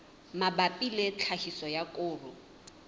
mabapi le tlhahiso ya koro